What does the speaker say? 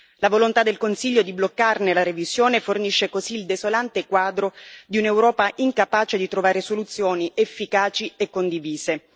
La volontà del Consiglio di bloccarne la revisione fornisce così il desolante quadro di un'Europa incapace di trovare soluzioni efficaci e condivise.